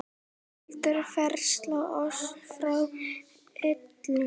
heldur frelsa oss frá illu.